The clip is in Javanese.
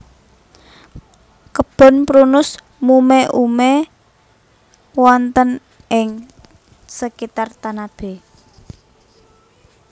Kebon Prunus mume ume wonten ing sekitar Tanabe